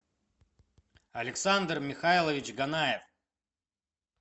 александр михайлович ганаев